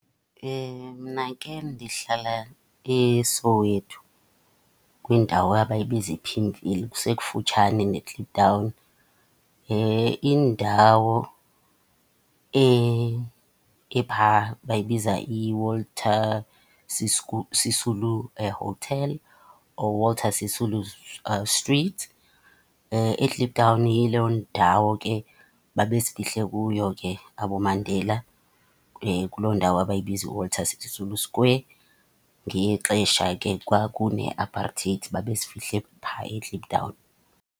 Mna ke ndihlala eSoweto kwindawo abayibiza iPimville, kusekufutshane neKliptown. Indawo epha bayibiza iWalter Sisulu Hotel or Walter Sisulu Street. IKliptown yiloo ndawo ke babezifihle kuyo ke aboMandela, kuloo ndawo abayibiza iWalter Sisulu Square ngexesha ke kwakune aparteyti, babezifihle phaa eKliptown.